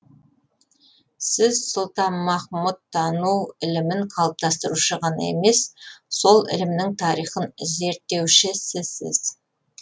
сіз сұлтанмахмұттану ілімін қалыптастырушы ғана емес сол ілімнің тарихын зерттеушісісіз